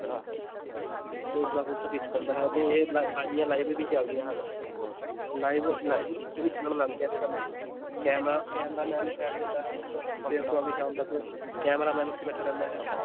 ਤੇ ਉਸਦਾ ਕਬੂਤਰ ਜਿੱਤ ਜਾਂਦਾ ਹੈ ਅਤੇ ਇਹ ਲ~ ਬਾਜ਼ੀਆਂ live ਵੀ ਚੱਲਦੀਆਂ ਹਨ live live ਵੀ ਚੱਲਣ ਲੱਗ ਗਈਆਂ ਅੱਜ ਕੱਲ੍ਹ ਇਹ camera, camera-man ਬੈਠ ਜਾਂਦਾ ਹੈ, ਸਵੇਰ ਤੋਂ ਆ ਕੇ ਸ਼ਾਮ ਤੱਕ camera-man ਉੱਥੇ ਬੈਠਾ ਰਹਿੰਦਾ ਹੈ